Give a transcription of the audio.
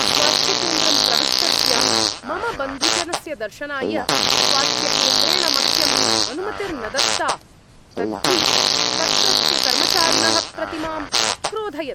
स्वास्थ्यकेन्द्रं प्रविष्टस्य मम बन्धुजनस्य दर्शनाय स्वास्थ्यकेन्द्रेण मह्यम् अनुमतिर्न दत्ता। तद्धि तत्रत्यकर्मचारिणः प्रति माम् अक्रोधयत्।